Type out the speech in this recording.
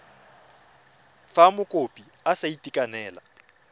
fa mokopi a sa itekanela